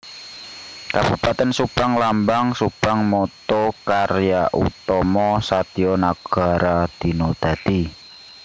Kabupatèn SubangLambang SubangMotto Karya Utama Satya Nagara Dina Dadi